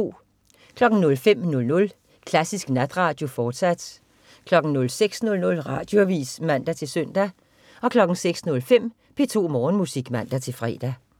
05.00 Klassisk Natradio, fortsat 06.00 Radioavis (man-søn) 06.05 P2 Morgenmusik (man-fre)